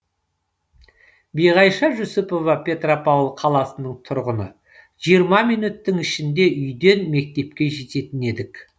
биғайша жүсіпова петропавл қаласының тұрғыны жиырма минуттың ішінде үйден мектепке жететін едік